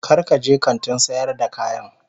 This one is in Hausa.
Kar ka je kantin sayar da kayan